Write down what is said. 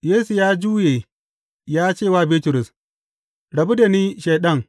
Yesu ya juya ya ce wa Bitrus, Rabu da ni, Shaiɗan!